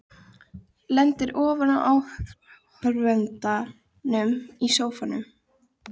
Lendir ofan á áhorfendum í sófa.